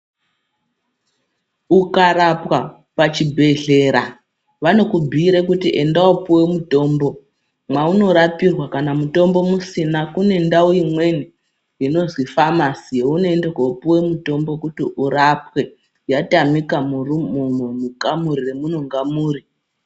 Ukarapwa pachibhedhlera vanokubhuira kuti enda wopuwa mutombo mwaunorapirwa kana mutombo musina kune ndau imweni inozi famasi younoenda kopuwa mutombo kuti urapwe yatamika mukamuri yamunenge muri.